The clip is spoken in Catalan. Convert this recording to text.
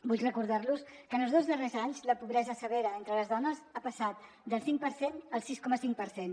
vull recordar·los que en els dos darrers anys la pobresa severa entre les dones ha passat del cinc per cent al sis coma cinc per cent